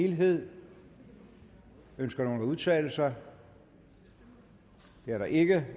helhed ønsker nogen at udtale sig det er der ikke